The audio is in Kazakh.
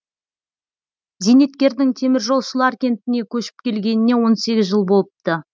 зейнеткердің теміржолшылар кентіне көшіп келгеніне он сегіз жыл болыпты